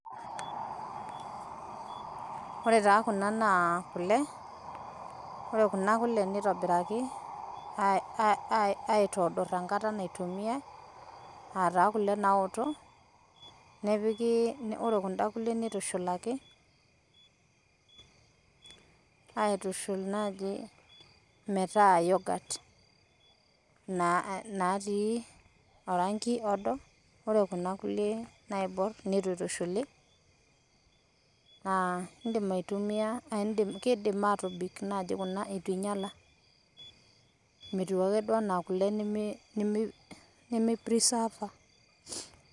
Ore taa kuna na ikule, ore kuna kule neitobiraki aitoodorr enkata naitumiya aataa kule naoto, ore kunda nkule neitushuulaki aitushul enaaji metaa yoghurt natii orangi odo, ore kuna inkule naibuorr netu aitushuli naa iindim aitumiyia keidim aatobik naaji kuna eitu einyala, metiu ake duo anaa kule nemeiprisaava.